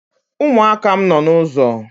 umuaka m no n’ụzọ